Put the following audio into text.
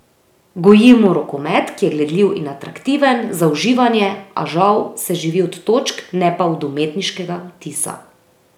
Gojimo rokomet, ki je gledljiv in atraktiven, za uživanje, a žal se živi od točk, ne pa od umetniškega vtisa.